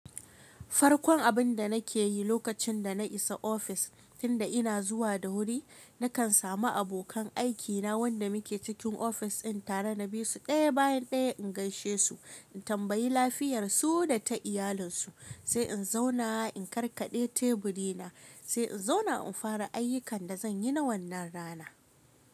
Farkon abin da na ke yi lokacin da na isa ofis, tun da ina zuwa da wuri, na kan samu abokan aikina wanda muke cikin ofis ɗin tare na bisu ɗaya bayan ɗaya in gaishe su, in tambayi lafiyar su da ta iyalinsu, sai in zauna in karkaɗe teburi na, sai in zauna in fara ayyukan da zan yi na wannan rana.